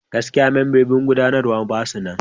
Gaskiya! membobin gudanarwa ba su nan.